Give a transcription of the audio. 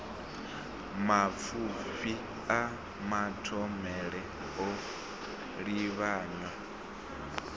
mapfufhi a mathomele o livhanywa